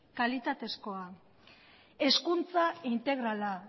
kalitatezkoa hezkuntza integrala